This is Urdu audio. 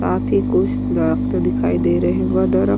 ساتھ ہی کچھ درخت دکھائی دے رہے ہے اور درخت --